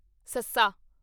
ਸੱਸਾ